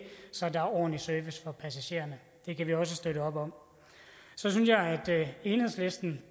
så der er ordentlig service for passagererne det kan vi også støtte op om så synes jeg at enhedslisten